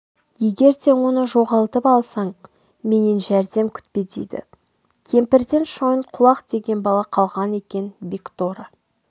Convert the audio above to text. егер де оны жоғалтып алсаң менен жәрдем күтпе дейді кемпірден шойынқұлақ деген бала қалған екен бекторы